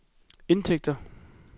indtægter